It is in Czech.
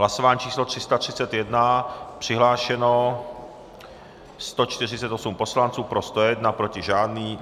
Hlasování číslo 331, přihlášeno 148 poslanců, pro 101, proti žádný.